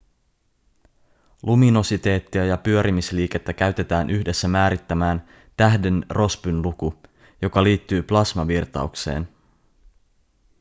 luminositeettia ja pyörimisliikettä käytetään yhdessä määrittämään tähden rossbyn luku joka liittyy plasmavirtaukseen